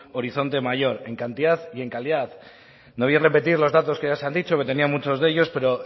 horizonte mayor en cantidad y en calidad no voy a repetir los datos que ya se han dicho que tenía muchos de ellos pero